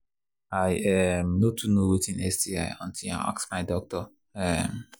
i um no too know watin sti until i ask my doctor um